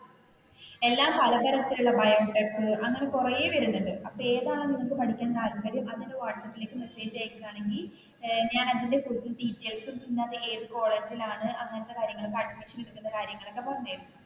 എല്ലാ പല തരത്തിലുള്ളബയോടെക് അങ്ങനെ കുറെ വരുന്നുണ്ട് ഏതാണ് നിനക്ക് പഠിക്കാന് താല്പര്യം അത് എനിക്ക് വാട്സാപ്പിലെക്ക് മെസ്സേജ് അയക്കുവാണെങ്കിൽ ഞാൻ അത് ഫുൾ ഡീറ്റെയിൽസും പിന്നെ അത് ഏതു കോളേജിലാണ് അങ്ങനത്തെ കാര്യങ്ങൾ ഒക്കെ അഡ്മിഷൻ എടുക്കുന്ന കാര്യങ്ങളൊക്കെ പറഞ്ഞു തരും